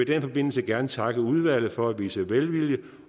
den forbindelse gerne takke udvalget for at vise velvilje